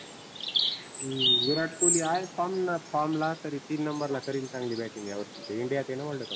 हम्म विराट कोल्ही आहे form form ला तीन नंबरला करीन चांगली batting या वर्षी तो India त आहेना world cup